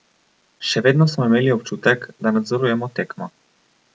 Še vedno smo imeli občutek, da nadzorujemo tekmo.